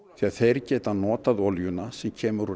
þeir geta notað olíuna sem kemur úr